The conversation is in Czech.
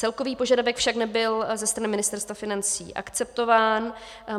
Celkový požadavek však nebyl ze strany Ministerstva financí akceptován.